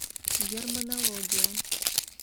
германология